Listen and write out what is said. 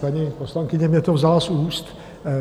Paní poslankyně mi to vzala z úst.